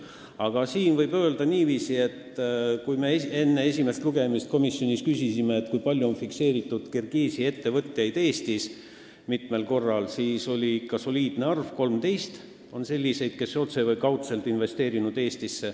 Aga praegu võib öelda niiviisi, et kui me enne esimest lugemist komisjonis küsisime, kui palju on Kirgiisi ettevõtted Eestisse investeerinud, siis selgus ikka soliidne arv: 13 on selliseid ettevõtteid, kes on otse või kaudselt Eestisse investeerinud.